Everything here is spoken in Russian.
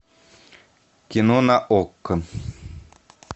кино на окко